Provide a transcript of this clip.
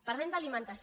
parlem d’alimentació